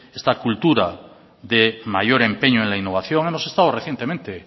esta cultura de mayor empeño en la innovación hemos estado recientemente